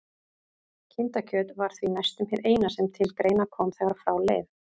Kindakjöt var því næstum hið eina sem til greina kom þegar frá leið.